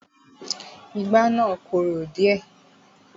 Ìgbá ni I korò díẹ̀.